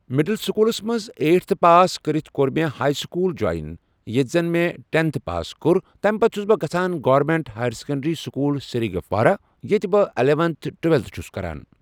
middle سکوٗلَس منٛز eighth pass کٔرِتھ کوٚر مےٚ ہایی سکوٗل جوٚیِن ییٚتہِ زن مےٚ ٹٮ۪نتھٕ پاس کوٚر تمہِ پتہٕ چھس بہٕ گژھان government higher secondary school Srigufwara ییٚتہِ بہٕ اِلٮ۪ونتھٕ ٹُوٮ۪لتھٕ چھس کَران